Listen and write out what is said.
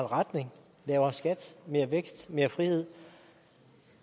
retning lavere skat mere vækst mere frihed